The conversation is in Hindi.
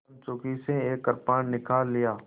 कंचुकी से एक कृपाण निकाल लिया